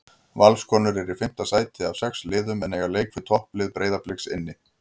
Valskonur eru í fimmta sæti af sex liðum en eiga leik við topplið Breiðabliks inni.